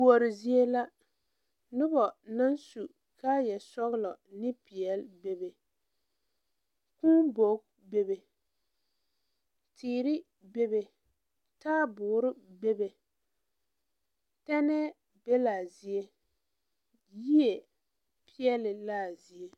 Kuori zie la nobɔ naŋ su kaayɛ sɔglɔ ne peɛle bebe kūū bogi bebe teere bebe taaboore bebe tɛnɛɛ be laa zie yie peɛle laa zie.